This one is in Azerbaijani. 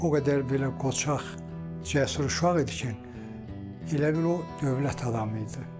O qədər belə qoçaq cəsur şüa edici elə bil o dövlət adamı idi.